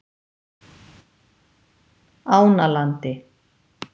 Ánalandi